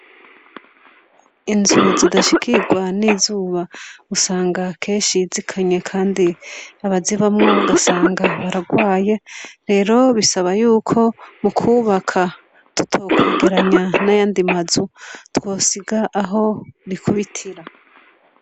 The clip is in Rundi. Inzu zidashikirwa n'izuba usanga kenshi zikanye kandi usanga abazibamwo bararwaye, rero bisaba yuko mukwubaka tutwokwegeranya nayandi ma nzu twosiga aho rikubitira.